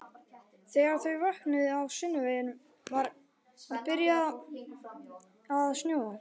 Þegar þau vöknuðu á sunnudeginum var byrjað að snjóa.